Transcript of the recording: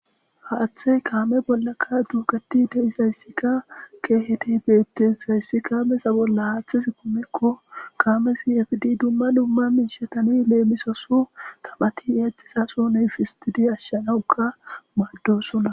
Haaththe kaame bollaka duugati dehisayssikka keehete beettesayssi kaamesa bolla haaththis kumekko kaamesi fdi dumma dumma miishatani leemisoso tamati exizasson efidi ashshanawuka maaddosona.